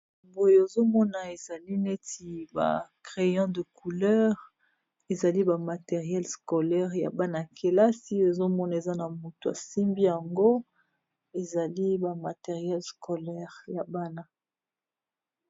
Awa nazomona ezaneti ba creyo de couleur ezali ba matérielle scolaire yabana kilasi tomoni mutu asimbiyango ezali ba matérielle scolaire yabana